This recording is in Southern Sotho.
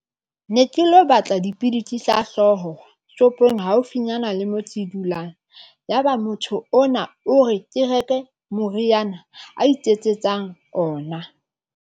Ne ke lo batla dipidisi tsa hlooho shopong haufinyana le motse e dulang. Yaba motho ona o re ke reke moriana a iketsetsang ona.